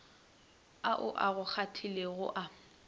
ao a go kgahlilego a